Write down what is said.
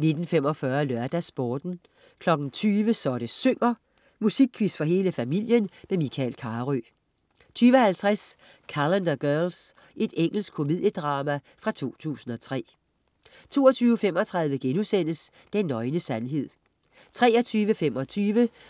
19.45 LørdagsSporten 20.00 Så det synger. Musikquiz for hele familien. Michael Carøe 20.50 Calendar Girls. Engelsk komediedrama fra 2003 22.35 Den nøgne sandhed* 23.25